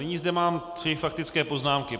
Nyní zde mám tři faktické poznámky.